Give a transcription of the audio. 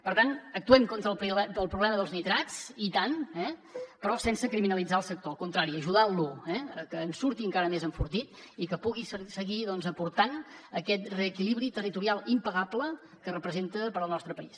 per tant actuem contra el problema dels nitrats i tant eh però sense criminalitzar el sector al contrari ajudantlo a que en surti encara més enfortit i que pugui seguir aportant aquest reequilibri territorial impagable que representa per al nostre país